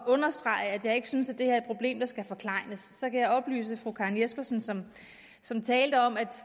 understrege at jeg ikke synes at det her er et problem der skal forklejnes kan jeg oplyse fru karen jespersen som som talte om at